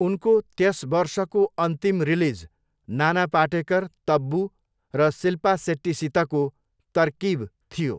उनको त्यस वर्षको अन्तिम रिलिज नाना पाटेकर, तब्बु र सिल्पा सेट्टीसितको तरकिब थियो।